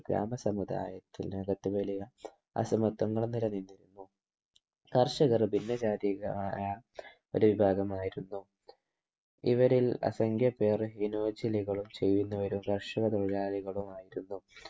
ഗ്രാമ സമുദായത്തിൽ അകത്ത് വലിയ അസമത്വങ്ങളും നിലനിന്നിരുന്നു കർഷകർ ഭിന്നജാതിക്കാരായ ഒരു വിഭാഗമായിരുന്നു ഇവരിൽ അസംഖ്യ പേരും ഹിനോജിലികളും ചെയ്യുന്നവരും കർഷക തൊഴിലാളികളുമായിരുന്നു